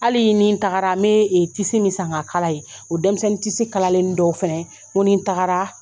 Hali ye nin tagara ni ye tisi min san k'a kala ye o denmisɛnnin tisi kalalennin dɔw fɛnɛ n ko ni n tagara